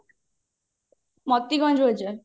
Matibhanj Bazar